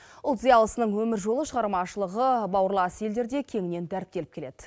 ұлт зиялысының өмір жолы шығармашылығы бауырлас елдерде кеңінен дәріптеліп келеді